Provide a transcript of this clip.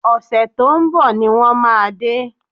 Ọ̀sẹ̀ tó ń bọ̀ ni wọ́n máa dé